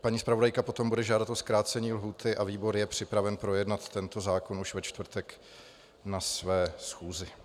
Paní zpravodajka potom bude žádat o zkrácení lhůty a výbor je připraven projednat tento zákon už ve čtvrtek na své schůzi.